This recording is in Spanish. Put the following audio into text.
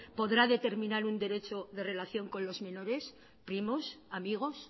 podrá determinar un derecho de relación con los menores primos amigos